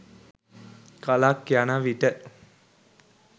කලක් යන විට